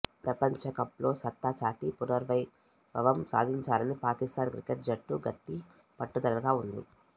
ప్రపంచకప్లో సత్తా చాటి పునర్వైభవం సాధించాలని పాకిస్తాన్ క్రికెట్ జట్టు గట్టి పట్టుదలగా ఉంది